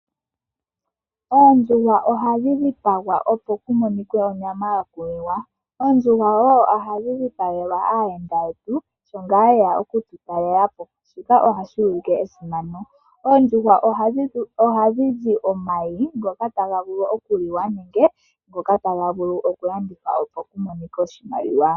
Oondjuhwa ohadhi dhipagwa opo kumonikwe onyama yokuliwa, oondjuhwa woo ohadhi dhipagelwa aayenda yetu shi ngaa yena oku tutalela po shika ohashi ulike Esimano. Oondjuhwa ohadhi zi omayi ngoka taga vulu okuliwa nenge ngoka taga vulu oku landithwa opo kumonikwe oshimaliwa.